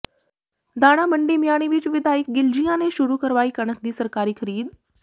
ਦਾਣਾ ਮੰਡੀ ਮਿਆਣੀ ਵਿਚ ਵਿਧਾਇਕ ਗਿਲਜੀਆਂ ਨੇ ਸ਼ੁਰੂ ਕਾਰਵਾਈ ਕਣਕ ਦੀ ਸਰਕਾਰੀ ਖ਼ਰੀਦ